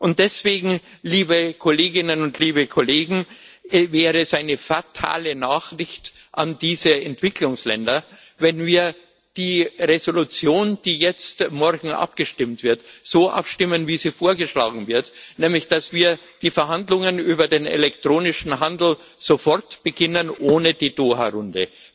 Und deswegen, liebe Kolleginnen und liebe Kollegen, wäre es eine fatale Nachricht an diese Entwicklungsländer, wenn wir die Entschließung, über die morgen abgestimmt wird, so abstimmen, wie sie vorgeschlagen wird, nämlich dass wir die Verhandlungen über den elektronischen Handel sofort beginnen, ohne die Doha Runde.